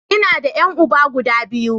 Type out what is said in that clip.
Ina da ƴan uba guda biyu.